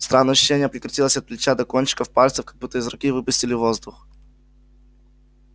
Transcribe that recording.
странное ощущение прокатилось от плеча до кончиков пальцев как будто из руки выпустили воздух